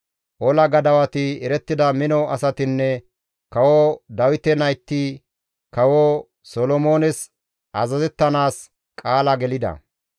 Ola gadawati, erettida mino asatinne kawo Dawite nayti kawo Solomoones azazettanaas qaala gelida.